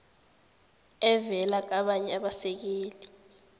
evela kabanye abasekeli